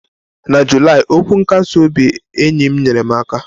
Na Julaị, okwu nkasi obi ndị enyi m nyere m aka.